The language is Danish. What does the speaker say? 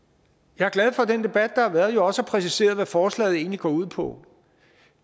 jeg er glad for at den debat der har været også har præciseret hvad forslaget egentlig går ud på